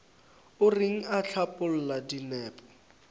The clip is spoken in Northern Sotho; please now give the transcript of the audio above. o reng o hlapaola dinepo